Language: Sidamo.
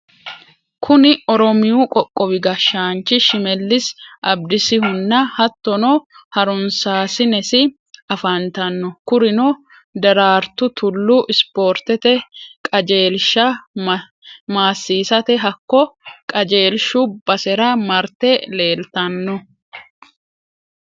Kuni oromiyu qooqowi gashanchi shimelisi abidisihunna hatonna harunsasinessi afantanno, kuriuno derartu tulu isporitete kajjelisha maasisate hako kajjeelishu basera marite leelitanno